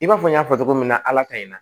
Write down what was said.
I b'a fɔ n y'a fɔ cogo min na ala ka in na